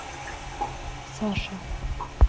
саша